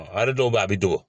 Wari dɔw bɛ a bɛ don